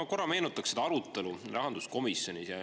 No korra meenutaks seda arutelu rahanduskomisjonis.